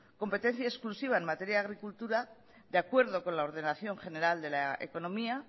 competencia exclusiva en materia de agricultura de acuerdo con la ordenación general de la economía